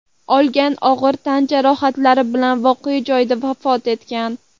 olgan og‘ir tan jarohatlari bilan voqea joyida vafot etgan.